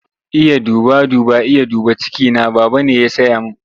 Iya duba duba, Iya dubi cikina, Baba ne ya saya min.